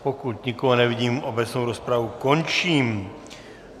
Pokud nikoho nevidím, obecnou rozpravu končím.